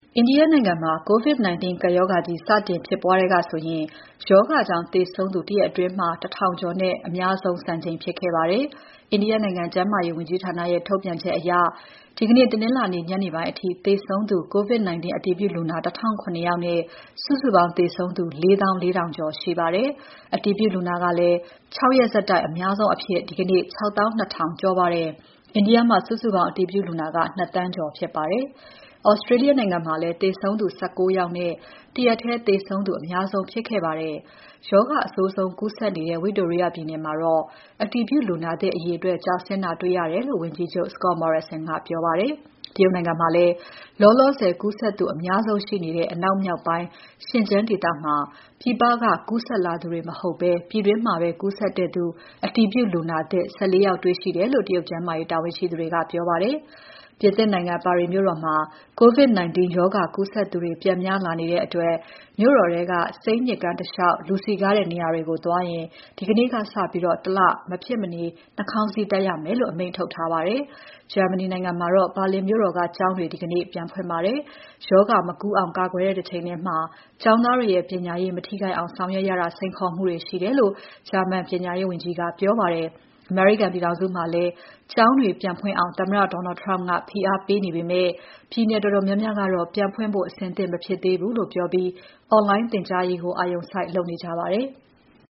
အိန္ဒိယနိုင်ငံမှာ COVID-19 ကပ်ရောဂါကြီး စတင်ဖြစ်ပွားကတည်းကဆိုရင် ရောဂါကြောင့်သေဆုံးသူ တရက်အတွင်း လူ ၁,၀၀၀ ကျော်နဲ့ သေဆုံးစာရင်း အများဆုံးစံချိန်ဖြစ်ခဲ့ပါတယ်။ အိန္ဒိယနိုင်ငံ ကျန်းမာရေးဝန်ကြီးဌာနရဲ့ ထုတ်ပြန်ချက်အရ ဒီနေ့ တနင်္လာနေ့ ညနေပိုင်းအထိ သေဆုံးသူ COVID-19 အတည်ပြုလူနာ ၁,၀၀၇ နဲ့ စုစုပေါင်း သေဆုံးသူ ၄၄,၀၀၀ ကျော်ရှိပါတယ်။ အတည်ပြုလူနာကလည်း ၆ ရက်ဆက်တိုက် အများဆုံးအဖြစ် ဒီနေ့ ၆၂,၀၀၀ ကျော်ပါတယ်။ အိန္ဒိယ မှာ စုစုပေါင်း အတည်ပြုလူနာက ၂,၀၀၀,၀၀၀ ကျော်ဖြစ်ပါတယ်။ Australia နိုင်ငံမှာလည်း သေဆုံးသူ ၁၉ ယောက်နဲ့ တရက်ထဲသေဆုံးသူ အများဆုံးဖြစ်ခဲ့ပါတယ်။ ရောဂါအဆိုးဆုံး ကူးစက်နေတဲ့ ဝိတိုရိယပြည်နယ်မှာတော့ အတည်ပြုလူနာသစ်အရေအတွက် ကျဆင်းတာတွေ့ရတယ်လို့ ဝန်ကြီးချုပ် Scott Morrison ကပြောပါတယ်။ တရုတ်နိုင်ငံမှာတော့ လောလောဆယ် ကူးစက်သူအများဆုံးရှိနေတဲ့ အနောက်မြောက်ပိုင်း ရှင်ကျန်းဒေသမှာ ပြည်ပက ကူးစက်လာသူတွေ မဟုတ်ဘဲ ပြည်တွင်းမှာကူးစက်တဲ့ အတည်ပြုလူနာသစ် ၁၄ ယောက် တွေ့ရှိတယ်လို့ တရုတ်ကျန်းမာရေးတာဝန်ရှိသူတွေကပြောပါတယ်။ ပြင်သစ်နိုင်ငံ ပါရီမြို့တော်မှာ COVID-19 ရောဂါကူးစက်သူတွေ ပြန်များလာနေတဲ့အတွက် မြို့တော်ထဲက Seine မြစ်ကမ်းတလေ ျှာက် လူစည်ကားတဲ့ နေရာတွေသွားရင် ဒီနေ့ကစပြီး တလ မဖြစ်မနေ နှာခေါင်းစည်းတပ်ရမယ်လို့ အမိန့်ထုတ်ထားပါတယ်။ ဂျာမနီနိုင်ငံမှာတော့ ဘာလင်မြို့တော်က ကျောင်းတွေ ဒီနေ့ပြန်ဖွင့်ပါတယ်။ ရောဂါမကူးအောင် ကာကွယ်တဲ့ တချိန်ထဲမှာ ကျောင်းသားတွေရဲ့ပညာရေး မထိခိုက်အောင် ဆောင်ရွက်ရတာ စိန်ခေါ်မှုတွေရှိတယ်လို့ ဂျာမန်ပညာရေးဝန်ကြီး ကပြောပါတယ်။ အမေရိကန်ပြည်ထောင်စုမှာလည်း ကျောင်းတွေပြန်ဖွင့်အောင် သမ္မတ Donald Trump ကဖိအားပေးနေပေမဲ့ ပြည်နယ်တော်တော်များများက ပြန်ဖွင့်ဖို့ အဆင်သင့် မဖြစ်သေးဘူးလို့ ပြောပြီး online သင်ကြားရေးကို အာရုံစိုက် လုပ်နေကြပါတယ်။